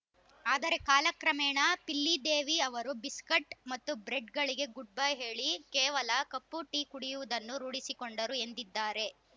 ಆದರೆ ಕಾಲ ಕ್ರಮೇಣ ಪಿಲ್ಲಿದೇವಿ ಅವರು ಬಿಸ್ಕಟ್‌ ಮತ್ತು ಬ್ರೆಡ್‌ಗಳಿಗೆ ಗುಡ್‌ಬೈ ಹೇಳಿ ಕೇವಲ ಕಪ್ಪು ಟೀ ಕುಡಿಯುವುದನ್ನು ರೂಢಿಸಿಕೊಂಡರು ಎಂದಿದ್ದಾರೆ